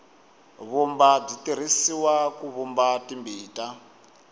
vumba byi tirhisiwa ku vumba timbita